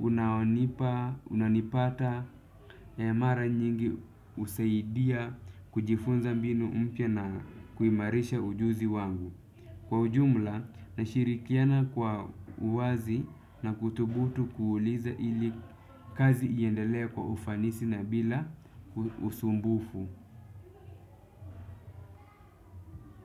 unaonipa, unanipata, mara nyingi husaidia kujifunza mbinu mpya na kuimarisha ujuzi wangu. Kwa ujumla nashirikiana kwa uwazi na kuthubutu kuuliza ili kazi iendelee kwa ufanisi na bila usumbufu.